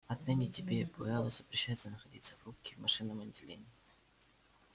отныне тебе и пауэллу запрещается находиться в рубке и в машинном отделении